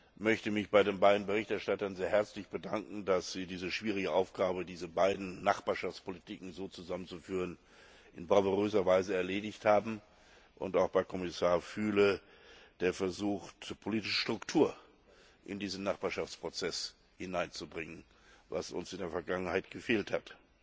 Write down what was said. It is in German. Ich möchte mich bei den beiden Berichterstattern sehr herzlich bedanken, dass sie diese schwierige Aufgabe, diese beiden Nachbarschaftspolitiken so zusammenzuführen, in bravouröser Weise erledigt haben, und auch bei Kommissar Füle, der versucht, politische Struktur in diesen Nachbarschaftsprozess hineinzubringen, was uns in der Vergangenheit gefehlt hat.